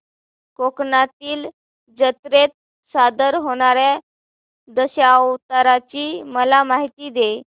कोकणातील जत्रेत सादर होणार्या दशावताराची मला माहिती दे